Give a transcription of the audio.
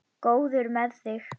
Góður með þig.